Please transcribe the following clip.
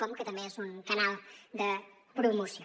com que també és un canal de promoció